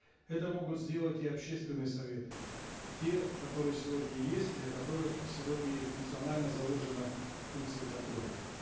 это могут сделать и общественные советы те которые сегодня есть для которых сегодня функционально заложена функция контроля